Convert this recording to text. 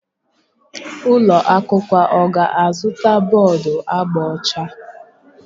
Ụlọ akwụkwọ ọ ga-azụta bọọdu agba ọcha?